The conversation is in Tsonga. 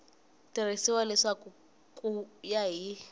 tivisiwa leswaku ku ya hi